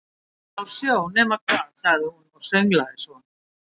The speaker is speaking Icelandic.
Úti á sjó, nema hvað sagði hún og sönglaði svo